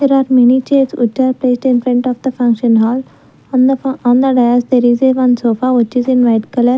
there are many chairs which are placed in front of the function hall on the f on the dais there is a one sofa which is in white color.